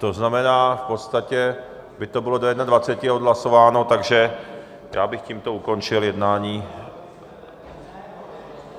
To znamená, v podstatě by to bylo do 21. odhlasováno, takže já bych tímto ukončil jednání.